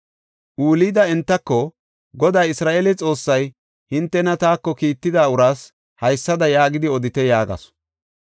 Hulda entako, “Goday Isra7eele Xoossay, ‘Hintena taako kiitida uraas haysada yaagidi odite’ yaagasu.